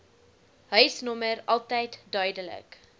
huisnommer altyd duidelik